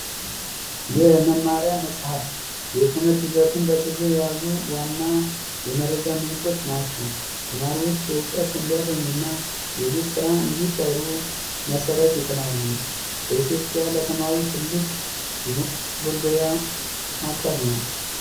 የመማሪያ መፅሐፍ የትምህርት ይዘቱን በዝርዝር የያዙ ዋና የመረጃ ምንጮች ናቸው። ተማሪዎች እውቀት እንዲያገኙ እና የቤት ስራ እንዲሰሩ መሰረት ይጥላሉ። በኢትዮጵያ የተማሪዎች ትልቅ የመገልገያ አካል ነው።